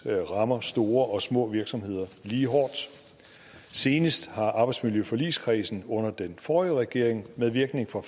rammer store og små virksomheder lige hårdt senest har arbejdsmiljøforligskredsen under den forrige regering med virkning fra